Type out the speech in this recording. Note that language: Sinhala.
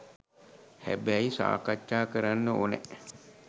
හැබැයි සාකච්ඡා කරන්න ඕනැ